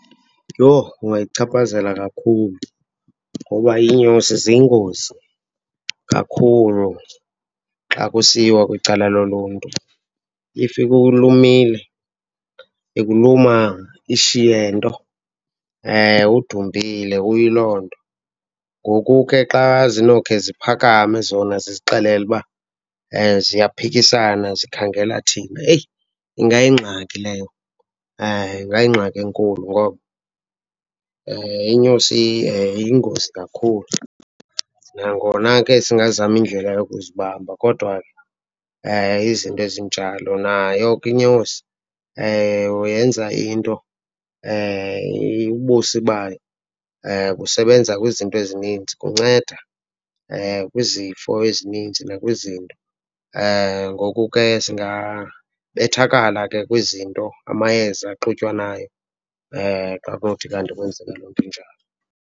Yho kungayichaphazela kakhulu ngoba iinyosi ziyingozi kakhulu xa kusiyiwa kwicala loluntu. If ikulumile, ikuluma ishiye nto, udumbile uyiloo nto. Ngoku ke xa zinokhe ziphakame zona zizixelele uba ziyaphikisana zikhangela thina, heyi, ingayingxaki leyo , ingayingxaki enkulu ngoba inyosi iyingozi kakhulu. Nangona ke singazama indlela yokuzibamba kodwa izinto ezinjalo, nayo ke inyosi yenza into, ubusi bayo busebenza kwizinto ezinintsi, kunceda kwizifo ezinintsi nakwizinto. Ngoku ke singabethakala ke kwizinto, amayeza axutywanayo, xa kunothi kanti kwenzeke loo into injalo.